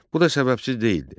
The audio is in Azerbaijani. Bu da səbəbsiz deyildi.